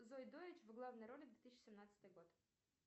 зои дойч в главной роли две тысячи семнадцатый год